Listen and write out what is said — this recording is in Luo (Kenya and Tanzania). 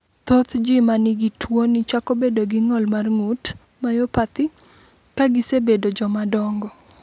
Thoth ji ma nigi tuwoni chako bedo gi ng’ol mar ng’ut (myopathy) ka gisebedo jomadongo.